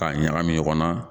Ka ɲagami ɲɔgɔnna